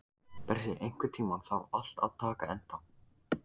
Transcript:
Bresi, einhvern tímann þarf allt að taka enda.